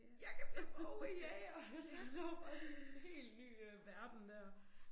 Jeg kan blive mågejæger. Altså lå bare sådan en helt ny øh verden dér